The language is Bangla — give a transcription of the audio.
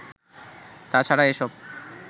তা ছাড়া এসব